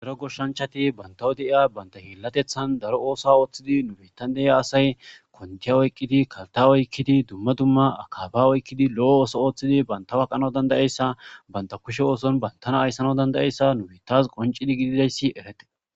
daro goshshanchati bantawo deiya baynta heellatethan daro oosa ooththidi nubetan de7iya asay kontiya oykkidi kalta oykkidi dumma dumma akaba oykkidi lo7o ooso ooththidi banta waqana dandayeyssa banta kushe ooson bantana ayssana dandayeyssa nubetas qoncidi gididayssi erete